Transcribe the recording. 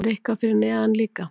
Er eitthvað fyrir neðan líka?